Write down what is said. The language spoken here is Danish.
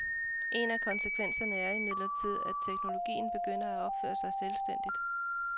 En af konsekvenserne er imidlertid, at teknologien begynder at opføre sig selvstændigt.